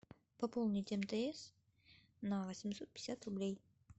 пополнить мтс на восемьсот пятьдесят рублей